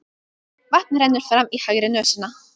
Vatn rennur fram í hægri nösina.